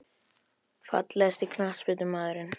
Fallegasti knattspyrnumaðurinn?